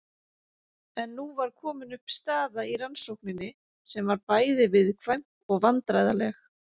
En nú var komin upp staða í rannsókninni sem var bæði viðkvæm og vandræðaleg.